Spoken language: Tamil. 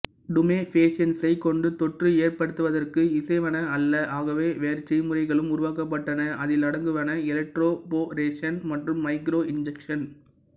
டுமேஃபேஷியன்ஸைக் கொண்டு தொற்று ஏற்படுத்துவதற்கு இசைவன அல்ல ஆகவே வேறு செய்முறைகளும் உருவாக்கப்பட்டன அதிலடங்குவன எலக்ட்ரோபோரேஷன் மற்றும் மைக்ரோ இன்ஜெக்சன்